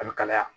A bɛ kalaya